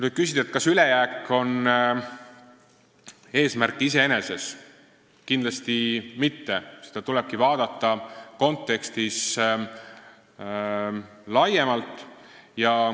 Kui küsida, kas ülejääk on eesmärk iseeneses, siis kindlasti mitte, seda tuleb vaadata laiemas kontekstis.